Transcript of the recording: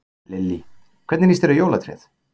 Lillý: Hvernig lýst þér á jólatréð?